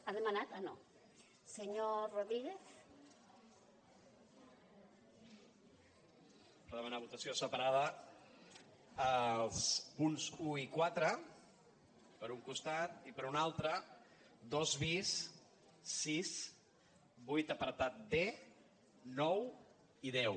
per demanar votació separada dels punts un i quatre per un costat i per un altre dos bis sis vuit apartat d nou i deu